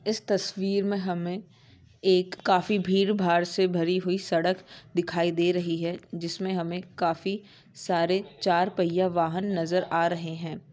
इस तस्वीर मैं हमे एक काफी भीर-बार से भरी हुई सड़क दिखाई दे रही है। जिसमे हमे काफी सारे चार पहिया वाहन नजर आ रहे है।